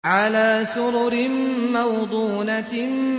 عَلَىٰ سُرُرٍ مَّوْضُونَةٍ